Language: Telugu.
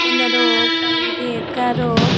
కొందరు పైకి ఎక్కారు.